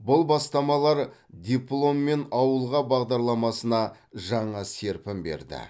бұл бастамалар дипломмен ауылға бағдарламасына жаңа серпін берді